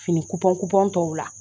Fini tɔw la